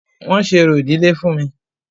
Wọ́n ṣe orò ìdílé fún mí.